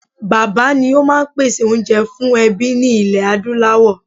Bàbá́ ni ó máa ń pèsè oúnjẹ fún ẹbí ní ilẹ̀ Adúláwọ̀